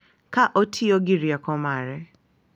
Ka otiyo gi rieko mare.